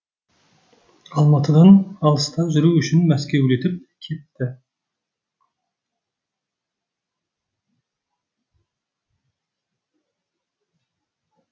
алматыдан алыста жүру үшін мәскеулетіп кетті